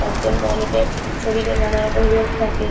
তার জন্য অনেকের শরীরে নানা রকম রোগ থাকে।